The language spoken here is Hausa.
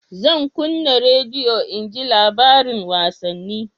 Zan kunna rediyo in ji labarin wasanni